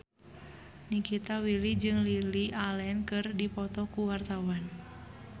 Nikita Willy jeung Lily Allen keur dipoto ku wartawan